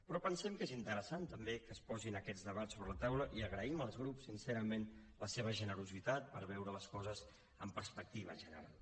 però pensem que és interessant també que es posin aquests debats sobre la taula i agraïm als grups sincerament la seva generositat per veure les coses amb perspectiva general